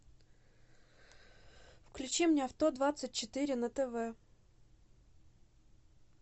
включи мне авто двадцать четыре на тв